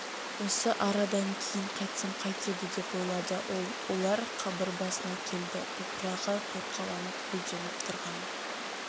осы арадан кейін қайтсам қайтеді деп ойлады ол олар қабыр басына келді топырағы торқаланып гүлденіп тұрған